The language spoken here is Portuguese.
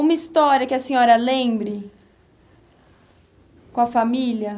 Uma história que a senhora lembre com a família?